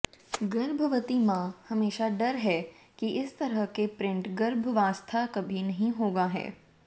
गर्भवती माँ हमेशा डर है कि इस तरह के प्रिंट गर्भावस्था कभी नहीं होगा है